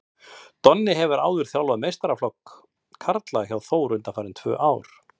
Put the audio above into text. Donni hefur áður þjálfað meistaraflokk karla hjá Þór undanfarin tvö ár.